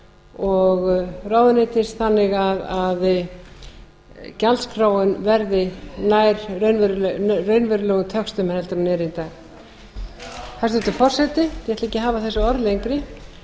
og ráðuneytis þannig að gjaldskráin verði nær raunverulegum töxtum en er í dag hæstvirtur forseti ég ætla ekki að hafa þessi orð lengri